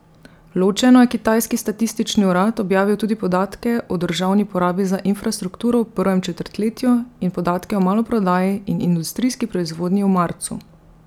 Ločeno je kitajski statistični urad objavil tudi podatke o državni porabi za infrastrukturo v prvem četrtletju in podatke o maloprodaji in industrijski proizvodnji v marcu.